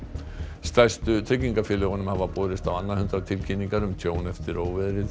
stærstu tryggingafélögunum hafa borist á annað hundrað tilkynningar um tjón eftir óveðrið